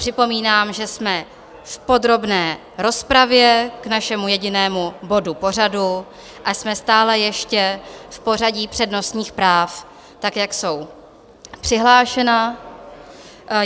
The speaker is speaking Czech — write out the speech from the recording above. Připomínám, že jsme v podrobné rozpravě k našemu jedinému bodu pořadu a jsme stále ještě v pořadí přednostních práv, tak jak jsou přihlášena.